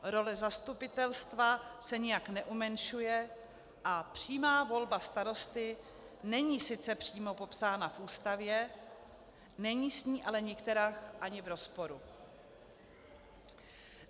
Role zastupitelstva se nijak neumenšuje a přímá volba starosty není sice přímo popsána v Ústavě, není s ní ale nikterak ani v rozporu.